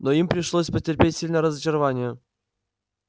но им пришлось потерпеть сильное разочарование